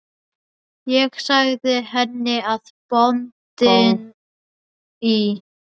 Ég sagði henni að bóndinn í